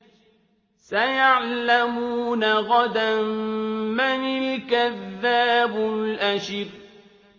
سَيَعْلَمُونَ غَدًا مَّنِ الْكَذَّابُ الْأَشِرُ